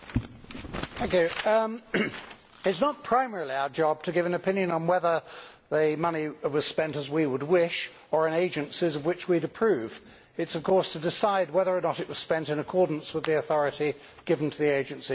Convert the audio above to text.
Mr President, it is not primarily our job to give an opinion on whether the money was spent as we would wish or in agencies of which we would approve. It is, of course, to decide whether or not it was spent in accordance with the authority given to the agency in question.